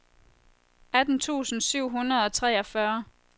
atten tusind syv hundrede og treogfyrre